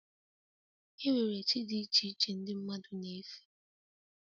E nwere chi dị iche iche ndị mmadụ na-efe